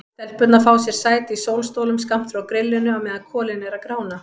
Stelpurnar fá sér sæti í sólstólum skammt frá grillinu á meðan kolin eru að grána.